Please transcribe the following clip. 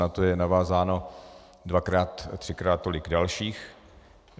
Na to je navázáno dvakrát, třikrát tolik dalších.